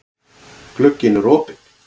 Glugginn er opinn.